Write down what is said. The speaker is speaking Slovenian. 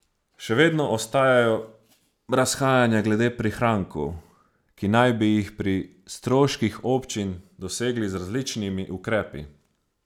Še vedno ostajajo razhajanja glede prihrankov, ki naj bi jih pri stroških občin dosegli z različnimi ukrepi.